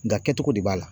Nga kɛcogo de b'a la